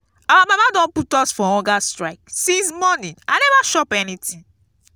our mama don put us for hunger strike since morning i never chop anything